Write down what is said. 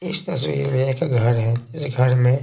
इस तस्वीर में एक घर है घर में।